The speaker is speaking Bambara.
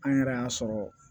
An yɛrɛ y'a sɔrɔ